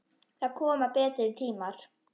Það koma betri tímar.